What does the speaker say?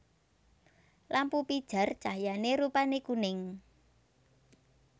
Lampu pijar cahyané rupané kuning